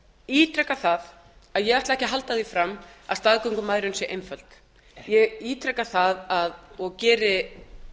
ítreka það að ég ætla ekki að halda því fram að staðgöngumæðrun sé einföld ég ítreka það og geri